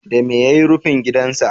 Dame ya yi rufin gidansa?